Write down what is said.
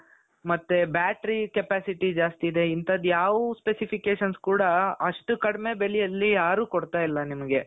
ಮತ್ತೆ battery capacity ಜಾಸ್ತಿ ಇದೆ ಇಂತದ್ದು ಯಾವ್ specification ಕೂಡ ಅಷ್ಟು ಕಡಿಮೆ ಬೆಲೆಯಲ್ಲಿ ಯಾರೂ ಕೊಡ್ತಾ ಇಲ್ಲ ನಿಮ್ಗೆ.